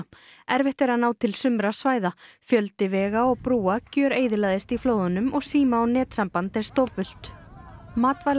erfitt er að ná til sumra svæða fjöldi vega og brúa gjöreyðilagðist í flóðunum og síma og netsamband er stopult